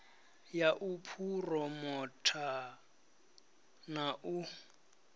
ya u phuromotha na u